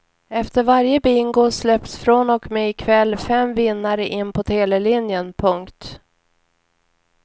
Efter varje bingo släpps från och med i kväll fem vinnare in på telelinjen. punkt